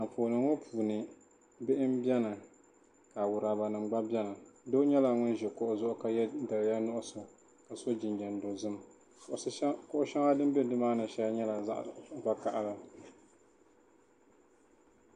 Anfooni ŋɔ puuni bihi mbɛni ka awuraba nima gba bɛni doo nyɛla ŋuni zi kuɣu zuɣu ka ye daliya nuɣiso ka so jinjam dozim kuɣu shɛŋa dini bɛ nimaani shɛli nyɛla zaɣi vakahali.